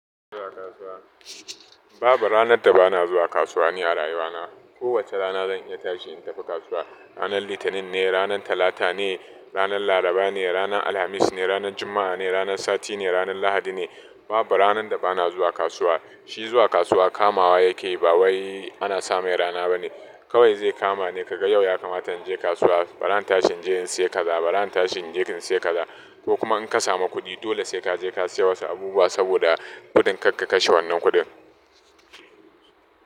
Babu ranar da ba na zuwa kasuwa ne yara yawana. Kowacce rana zan iya tashi in tafi kasuwa. Ranar Litinin ne, ranar Talata ne, ranar Laraba ne, ranar Alhamis ne, ranar Juma'a ne, ranar Sati ne, ranar Lahadi ne. Babu ranar da ba na zuwa kasuwa. Shi zuwa kasuwa kamawa yake, ba wai ana same rana ba ne. Kawai zai kama ne ka ga yau ya kamata in je kasuwa, bara na tashi in je in sayi kaza, bara na tashi in je in sayi kaza. To kuma in ka samu kuɗi dole sai ka je ka sayi wasu abubuwa saboda kuɗin kar ka kashe wannan kuɗin.